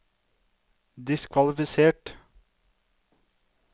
diskvalifisert